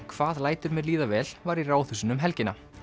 hvað lætur mér líða vel var í Ráðhúsinu um helgina